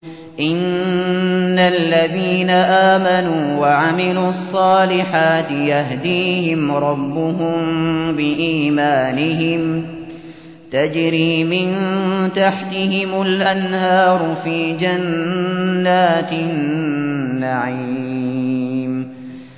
إِنَّ الَّذِينَ آمَنُوا وَعَمِلُوا الصَّالِحَاتِ يَهْدِيهِمْ رَبُّهُم بِإِيمَانِهِمْ ۖ تَجْرِي مِن تَحْتِهِمُ الْأَنْهَارُ فِي جَنَّاتِ النَّعِيمِ